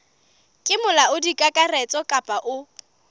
ke molaodi kakaretso kapa o